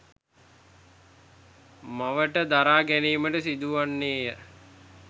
මවට දරා ගැනීමට සිදුවන්නේය.